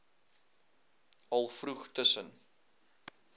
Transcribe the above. al vroeg tussen